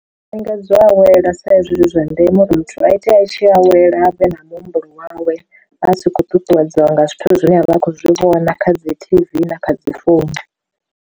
Lingedza u awela sa izwi zwi zwa ndeme uri muthu a itea a tshi awela vhe na muhumbulo wawe vha si khou ṱuṱuwedziwa nga zwithu zwine avha a khou zwi vhona kha dzi T_V na kha dzi founu.